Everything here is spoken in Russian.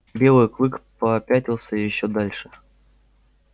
белый клык попятился ещё дальше